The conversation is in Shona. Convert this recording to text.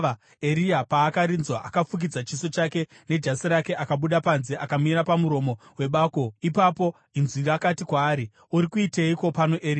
Eria paakarinzwa, akafukidza chiso chake nejasi rake akabuda panze akamira pamuromo webako. Ipapo inzwi rakati kwaari, “Uri kuiteiko pano, Eria?”